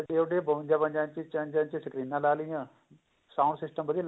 ਵੱਡੇ ਵੱਡੇ ਬਵੰਜਾ ਇੰਚੀ ਚ੍ਰ੍ਨੰਜਾ ਇੰਚੀ ਸਕਰੀਨਾ ਲਾ ਲਈਆਂ sound system